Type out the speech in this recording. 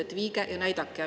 Et viige ja näidake.